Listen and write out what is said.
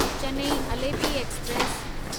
Chennai Alleppey express